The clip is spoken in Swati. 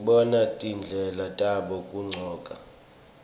sibona tindlela tabo tekugcoka